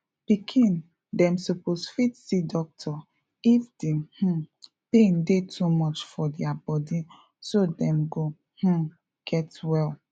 pikin dem suppose fit see doctor if the um pain dey too much for dia body so dem go um get well